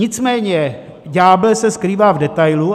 Nicméně ďábel se skrývá v detailu.